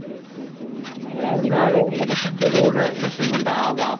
ഏഹ് ഒ ഓ ഇഹ് ഇഹ് ജനസംഖ്യകൂടണ പ്രശ്നംകൊണ്ടാവാം